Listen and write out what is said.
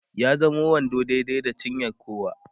ya zamo wando daidai da cinyar kowa